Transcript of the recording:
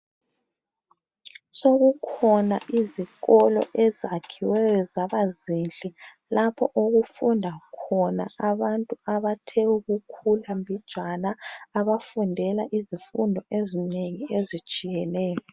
Sokukhona izikolo ezakhiweyo zabazinhle. Lapho okufunda khona abantu abathe ukukhula mbijana. Abafundela izifundo ezinengi, ezitshiyeneyo.